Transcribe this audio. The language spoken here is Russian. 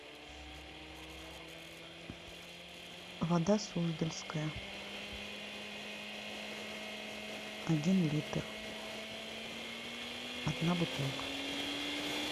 вода суздальская один литр одна бутылка